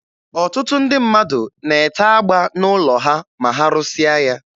Ọtụtụ ndị mmadụ na-ete agba n'ụlọ ha ma ha rụsịa ya.